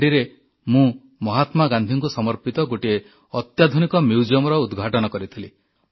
ଦାଣ୍ଡିରେ ମୁଁ ମହାତ୍ମା ଗାନ୍ଧୀଙ୍କୁ ସମର୍ପିତ ଗୋଟିଏ ଅତ୍ୟାଧୁନିକ ମ୍ୟୁଜିଅମର ଉଦ୍ଘାଟନ କରିଥିଲି